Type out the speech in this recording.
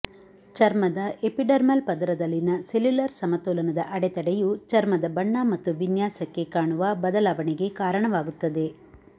ಚರ್ಮದ ಎಪಿಡರ್ಮಲ್ ಪದರದಲ್ಲಿನ ಸೆಲ್ಯುಲರ್ ಸಮತೋಲನದ ಅಡೆತಡೆಯು ಚರ್ಮದ ಬಣ್ಣ ಮತ್ತು ವಿನ್ಯಾಸಕ್ಕೆ ಕಾಣುವ ಬದಲಾವಣೆಗೆ ಕಾರಣವಾಗುತ್ತದೆ